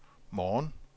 morgen